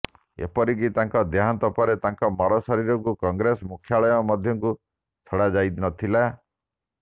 ଏପରିକି ତାଙ୍କ ଦେହାନ୍ତ ପରେ ତାଙ୍କ ମରଶରୀରକୁ କଂଗ୍ରେସ ମୁଖ୍ୟାଳୟ ମଧ୍ୟକୁ ଛଡା ଯାଇନଥିଲା